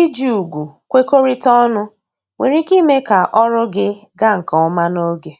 iji ùgwù kwekorita ọnụ nwere ike ime ka ọrụ gị ga nke ọma n'oge